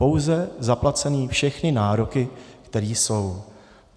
Pouze zaplacené všechny nároky, které jsou.